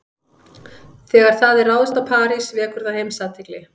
Þegar það er ráðist á París vekur það heimsathygli.